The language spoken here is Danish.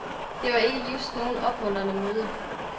Det var ikke just noget opmuntrende møde.